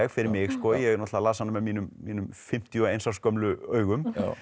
fyrir mig ég náttúrulega las hana með mínum mínum fimmtíu og eins árs gömlu augum